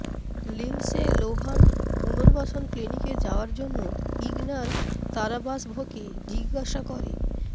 Lindsay Lohan পুনর্বাসন ক্লিনিকে যাওয়ার জন্য ইগনার তারাবাসভকে জিজ্ঞাসা করে